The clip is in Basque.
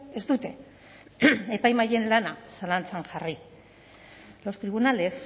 ez dute epaimahaien lana zalantzan jarri los tribunales